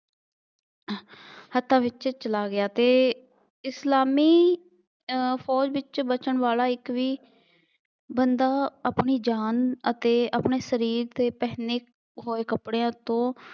ਹੱਥਾਂ ਵਿੱਚ ਚਲਾ ਗਿਆ ਅਤੇ ਇਸਲਾਮੀ ਅਹ ਫੌਜ ਵਿੱਚ ਬੱਚਣ ਵਾਲਾ ਇੱਕ ਵੀ ਬੰਦਾ ਆਪਣੀ ਜਾਨ ਅਤੇ ਆਪਣੇ ਸਰੀਰ ਤੇ ਪਹਿਨੇ ਹੋਏ ਕੱਪੜਿਆਂ ਤੋਂ